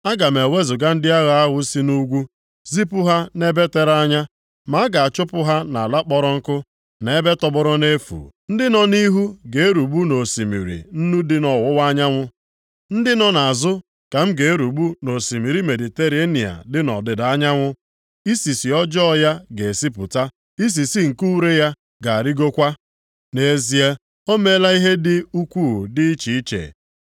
“Aga m ewezuga ndị agha ahụ si nʼugwu, zipụ ha nʼebe tere anya, m ga-achụba ha nʼala kpọrọ nkụ, na ebe tọgbọrọ nʼefu. Ndị nọ nʼihu ga-erugbu nʼosimiri Nnu dị nʼọwụwa anyanwụ; ndị nọ nʼazụ ka m ga-erugbu nʼosimiri Mediterenịa dị nʼọdịda anyanwụ. Isisi ọjọọ ya ga-esipụta, isisi nke ure ya ga-arịgokwa.” Nʼezie, ọ meela ihe ndị dị ukwuu dị iche iche.